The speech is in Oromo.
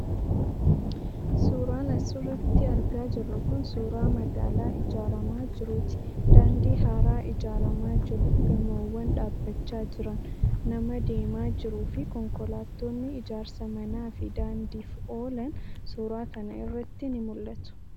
Suuraan as irratti argaa jirru kun suuraa magaalaa ijaaramaa jiruu ti. Daandii haaraa ijaaramaa jiru, gamoowwan dhaabachaa jiran, nama deemaa jiruu fi konkolaattonni ijaarsa manaa fi daandiif oolan suuraa kana irratti ni mul'atu.